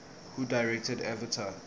who directed avatar